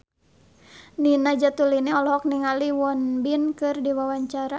Nina Zatulini olohok ningali Won Bin keur diwawancara